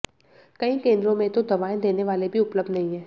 कई केंद्रों में तो दवाएं देने वाले भी उपलब्ध नहीं हैं